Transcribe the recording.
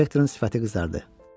Protektorun sifəti qızardı.